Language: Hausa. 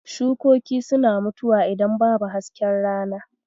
Shukoki suna mutuwa idan babu hasken rana.